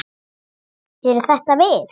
Eru þetta við?